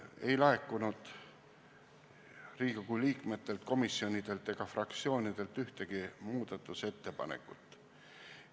Ei laekunud Riigikogu liikmetelt, komisjonidelt ega fraktsioonidelt ühtegi muudatusettepanekut.